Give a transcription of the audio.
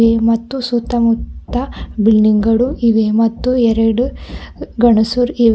ಈ ಮತ್ತು ಸುತ್ತ ಮುತ್ತ ಬಿಲ್ಡಿಂಗ್ ಗಳು ಇವೆ ಮತ್ತು ಎರಡು ಗನಸುರ್ ಇ--